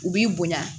U b'i bonya